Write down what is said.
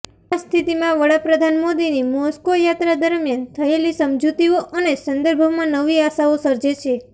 આ સ્થિતિમાં વડાપ્રધાન મોદીની મોસ્કો યાત્રા દરમિયાન થયેલી સમજૂતીઓ આ સંદર્ભમાં નવી આશાઓ સર્જે છે